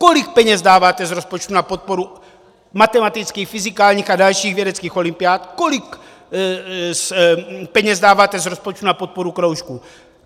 Kolik peněz dáváte z rozpočtu na podporu matematických, fyzikálních a dalších vědeckých olympiád, kolik peněz dáváte z rozpočtu na podporu kroužků.